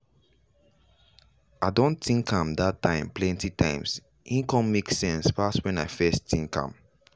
i don think that time plenty times he con make sense pass when i first think am.